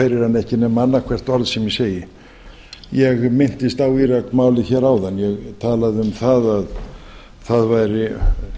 heyrir hann ekki nema annað hvort orð sem ég segi ég minntist á íraksmálið hér áðan ég talaði um að það væri